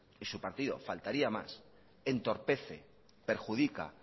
y su partido faltaría más entorpece perjudica